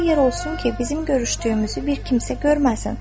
Elə yer olsun ki, bizim görüşdüyümüzü bir kimsə görməsin.